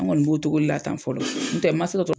An kɔni b'o togo de la tan fɔlɔ, n'o tɛ ma